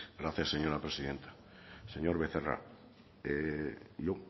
gracias señora presidenta señor becerra yo